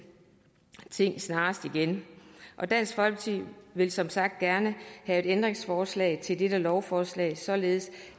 ting snarest igen og dansk folkeparti vil som sagt gerne have et ændringsforslag til dette lovforslag således